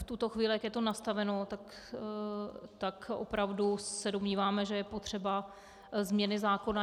V tuto chvíli, jak je to nastaveno, tak opravdu se domnívám, že je potřebná změna zákona.